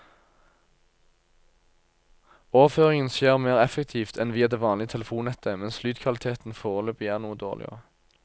Overføringen skjer mer effektivt enn via det vanlige telefonnettet, mens lydkvaliteten foreløpig er noe dårligere.